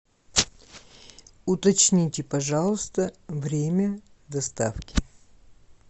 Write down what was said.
уточните пожалуйста время доставки